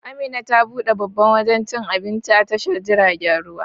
Amina ta buɗe babban wajan cikin Abinci a tashar jiragen ruwa